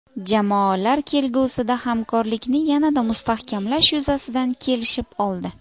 Jamoalar kelgusida hamkorlikni yanada mustahkamlash yuzasidan kelishib oldi.